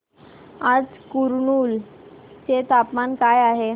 आज कुरनूल चे तापमान काय आहे